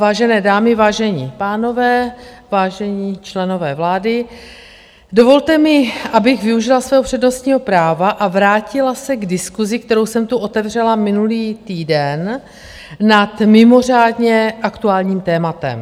Vážené dámy, vážení pánové, vážení členové vlády, dovolte mi, abych využila svého přednostního práva a vrátila se k diskusi, kterou jsem tu otevřela minulý týden, nad mimořádně aktuálním tématem.